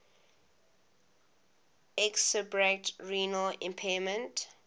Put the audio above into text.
exacerbate renal impairment